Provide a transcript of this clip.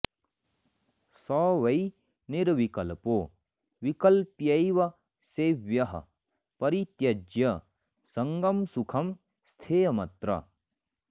स वै निर्विकल्पो विकल्प्यैव सेव्यः परित्यज्य सङ्गं सुखं स्थेयमत्र